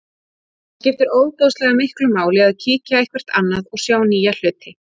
Það skiptir ofboðslega miklu máli að kíkja eitthvert annað og sjá nýja hluti.